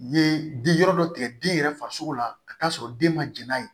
Ye di yɔrɔ dɔ tigɛ den yɛrɛ farisogo la ka t'a sɔrɔ den ma jɛn n'a ye